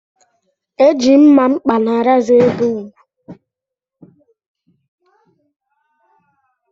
E ji mmamkpa na rezọ ebe ugwu